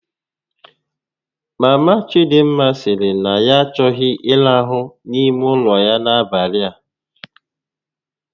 Mama Chidịmma sịrị na ya achọghị ịrahu n'ime ụlọ ya n'abalị a